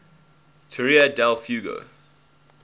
tierra del fuego